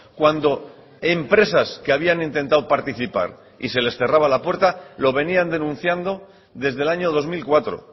cuando empresas que habían intentado participar y se les cerraba la puerta lo venían denunciando desde el año dos mil cuatro